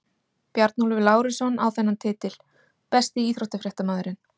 Bjarnólfur Lárusson á þennan titil Besti íþróttafréttamaðurinn?